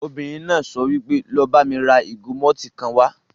Obìnrin náà sọ wípé 'lọ bá mi ra ìgò mọ́tìì kan wá'